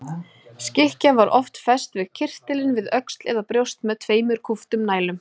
Skikkja var oft fest yfir kyrtilinn við öxl eða brjóst með tveimur kúptum nælum.